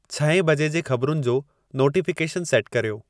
छहें बजे जे ख़बरुनि जो नोटिफ़िकेशनु सेटु कर्यो